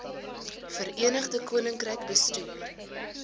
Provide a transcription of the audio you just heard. verenigde koninkryk bestuur